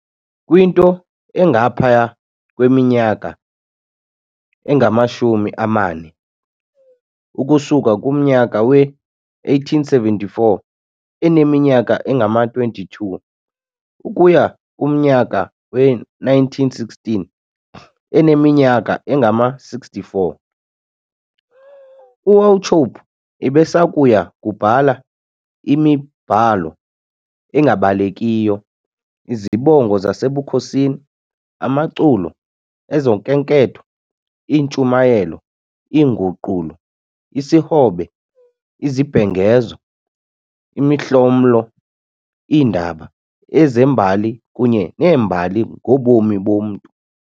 Kwinto engaphaya kweminyaka engamashumi amane, ukusuka kumnyaka we-1874, eneminyaka engama-22 ukuya kumnyaka we-1916 eneminyaka engama-64, uWauchope ebesakuya kubhala imibhalo engabalekiyo- izibongo zasebukhosini, amaculo, ezokhenketho, iintshumayelo, iinguqulo, isihobe, izibhengezo, imihlomlo, iindaba, ezembali kunye neembali ngobomi bomntu.